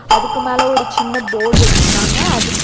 அதுக்கு மேல ஒரு சின்ன போர்டு வச்சிருக்கிறாங்க. அது --